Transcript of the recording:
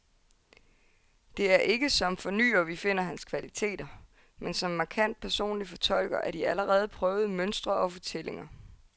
Det er ikke som fornyer, vi finder hans kvaliteter, men som markant personlig fortolker af de allerede prøvede mønstre og fortællinger.